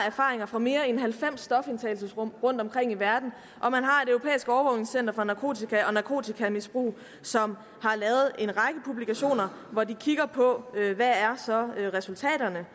erfaringer fra mere end halvfems stofindtagelsesrum rundtomkring i verden og for narkotika og narkotikamisbrug som har lavet en række publikationer hvor de kigger på hvad resultaterne